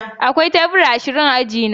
Akwai tebura ashirin a aji na